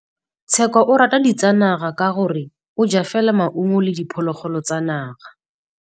Tshekô o rata ditsanaga ka gore o ja fela maungo le diphologolo tsa naga.